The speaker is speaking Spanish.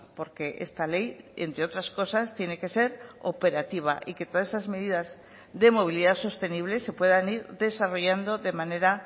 porque esta ley entre otras cosas tiene que ser operativa y que todas esas medidas de movilidad sostenible se puedan ir desarrollando de manera